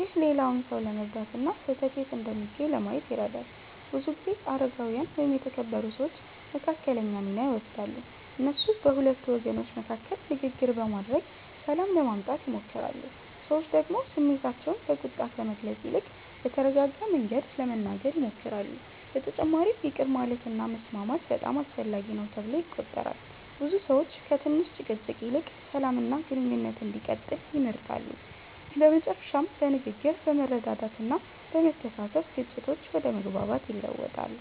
ይህ ሌላውን ሰው ለመረዳት እና ስህተት የት እንደሚገኝ ለማየት ይረዳል። ብዙ ጊዜ አረጋዊያን ወይም የተከበሩ ሰዎች መካከለኛ ሚና ይወስዳሉ። እነሱ በሁለቱ ወገኖች መካከል ንግግር በማድረግ ሰላም ለማምጣት ይሞክራሉ። ሰዎች ደግሞ ስሜታቸውን በቁጣ ከመግለጽ ይልቅ በተረጋጋ መንገድ ለመናገር ይሞክራሉ። በተጨማሪም ይቅር ማለት እና መስማማት በጣም አስፈላጊ ነው ተብሎ ይቆጠራል። ብዙ ሰዎች ከትንሽ ጭቅጭቅ ይልቅ ሰላም እና ግንኙነት እንዲቀጥል ይመርጣሉ። በመጨረሻም በንግግር፣ በመረዳዳት እና በመተሳሰብ ግጭቶች ወደ መግባባት ይለወጣሉ።